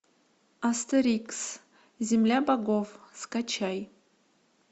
астерикс земля богов скачай